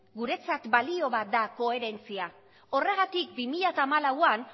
guretzat balio bat da koherentzia horregatik bi mila hamalauan